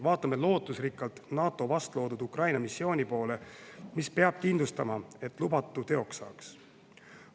Vaatame lootusrikkalt NATO vastloodud Ukraina-missiooni poole, mis peab kindlustama, et lubatu teoks saaks.